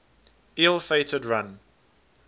ill fated run